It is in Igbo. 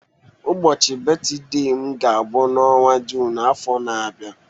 Ụbọchị betide m ga-abu n'ọnwa Jụn afọ na-abia.